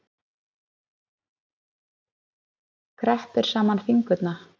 Kreppti saman fingurna.